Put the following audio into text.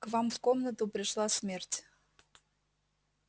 к вам в комнату пришла смерть